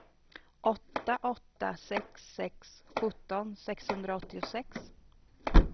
åtta åtta sex sex sjutton sexhundraåttiosex